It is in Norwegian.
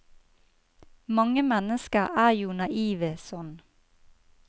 Mange mennesker er jo naive sånn.